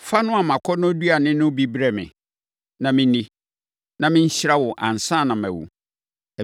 Fa noa mʼakɔnnɔduane no bi brɛ me, na menni, na menhyira wo ansa na mawu.”